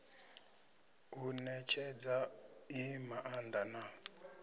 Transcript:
u netshedza i maanda na